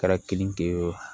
Kɛra keninge o